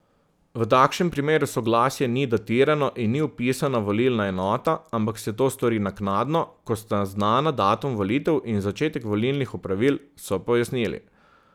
V takšnem primeru soglasje ni datirano in ni vpisana volilna enota, ampak se to stori naknadno, ko sta znana datum volitev in začetek volilnih opravil, so pojasnili.